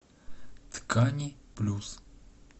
ткани плюс